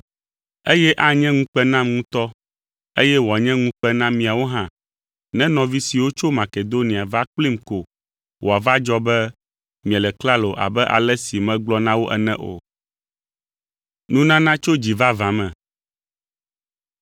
Eye anye ŋukpe nam ŋutɔ, eye wòanye ŋukpe na miawo hã ne nɔvi siwo tso Makedonia va kplim ko wòava dzɔ be miele klalo abe ale si megblɔ na wo ene o.